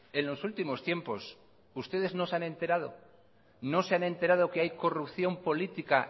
en los últimos tiempos ustedes no se han enterado que hay corrupción política